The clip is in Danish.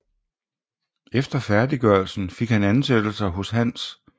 Efter færdiggørelsen fik han ansættelser hos Hans J